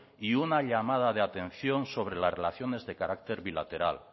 y una llamada de atención sobre las relaciones de carácter bilateral